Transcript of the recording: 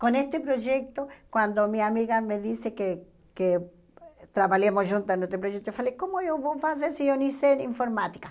Com esse projeto, quando minha amiga me disse que que trabalhemos juntos nesse projeto, eu falei, como eu vou fazer se eu nem sei informática?